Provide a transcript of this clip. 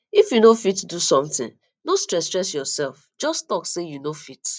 if you no fit do something no stress stress yourself just talk say you no fit